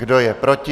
Kdo je proti?